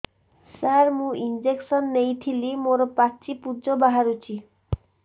ସାର ମୁଁ ଇଂଜେକସନ ନେଇଥିଲି ମୋରୋ ପାଚି ପୂଜ ବାହାରୁଚି